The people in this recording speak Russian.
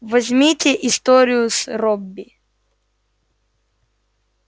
возьмите историю с робби